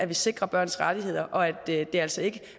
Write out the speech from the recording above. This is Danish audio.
vi sikrer børns rettigheder og at det altså ikke